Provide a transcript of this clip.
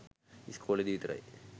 ඉස්කෝලෙදි විතරයි